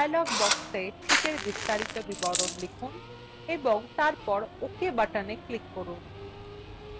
আপনি dialog box sheetএর বিস্তারিত বিবরণ লিখুন এবং তারপর ok button click করুন